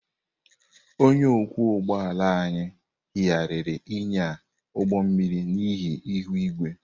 Onye ọkwọ ụgbọ ala anyị yigharịrị ịnya ụgbọ mmiri n'ihi ihu igwe.